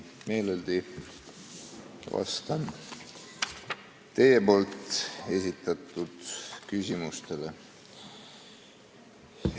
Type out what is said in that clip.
Meeleldi vastan teie esitatud küsimustele.